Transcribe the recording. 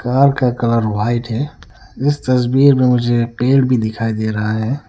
Car का colour white है इस तस्वीर में मुझे पेड़ भी दिखाई दे रहा है।